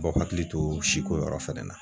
b'aw hakili to siko yɔrɔ fɛnɛ na